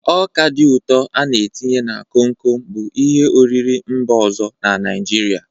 Ọka ụtọ a n-etinye na komkom bụ ihe oriri mba ọzọ na Naijiria.